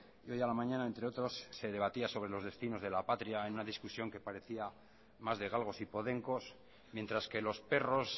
y hoy a la mañana entre otros se debatía sobre los destinos de la patria en una discusión que parecía más de galgos y podencos mientras que los perros